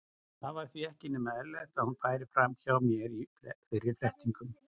Það var því ekki nema eðlilegt að hún færi fram hjá mér í fyrri flettingum.